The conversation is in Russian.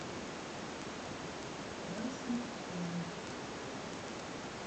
красный холм